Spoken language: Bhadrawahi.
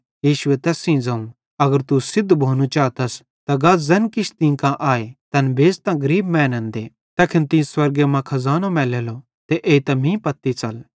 यीशुए तैस सेइं ज़ोवं अगर तू सिद्ध भोनू चातस त गा ज़ैन किछ तीं कां आए तैन बेच़तां गरीब मैनन् दे तैखन तीं स्वर्गे मां खज़ानो मैलेलो ते एइतां मीं सेइं साथी च़ल